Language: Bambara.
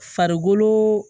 Farikolo